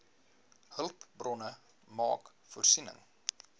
hulpbronne maak voorsiening